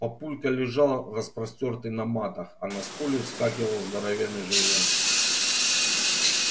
папулька лежал распростёртый на матах а на скуле вскакивал здоровенный желвак